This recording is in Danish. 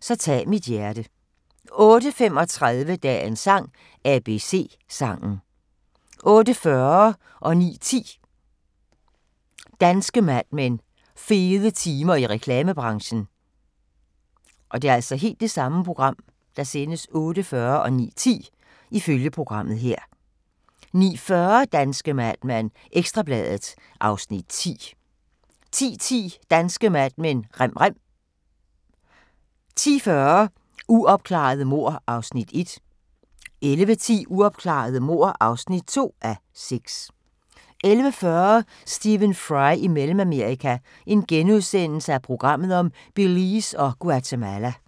Så tag mit hjerte * 08:35: Dagens sang: ABC-sangen 08:40: Danske Mad Men: Fede tider i reklamebranchen 09:10: Danske Mad Men: Fede tider i reklamebranchen 09:40: Danske Mad Men: Ekstra Bladet (Afs. 10) 10:10: Danske Mad Men: Rem rem 10:40: Uopklarede mord (1:6) 11:10: Uopklarede mord (2:6) 11:40: Stephen Fry i Mellemamerika – Belize og Guatemala *